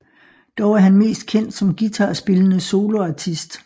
Dog er han mest kendt som guitarspillende soloartist